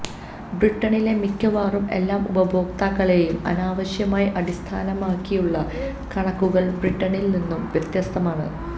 ബ്രിട്ടനിലെ മിക്കവാറും എല്ലാ ഉപഭോക്താക്കളേയും അനാവശ്യമായി അടിസ്ഥാനമാക്കിയുള്ള കണക്കുകൾ ബ്രിട്ടനിൽ നിന്നു വ്യത്യസ്തമാണ്